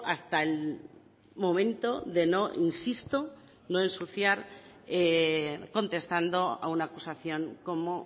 hasta el momento de no insisto no ensuciar contestando a una acusación como